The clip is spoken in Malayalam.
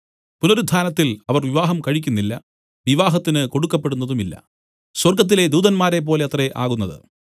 പുനരുത്ഥാനത്തിൽ അവർ വിവാഹം കഴിക്കുന്നില്ല വിവാഹത്തിന് കൊടുക്കപ്പെടുന്നതുമില്ല സ്വർഗ്ഗത്തിലെ ദൂതന്മാരെപ്പോലെ അത്രേ ആകുന്നത്